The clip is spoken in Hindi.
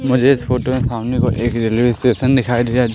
मुझे इस फोटो में सामने की ओर एक रेलवे स्टेशन दिखाई दिया--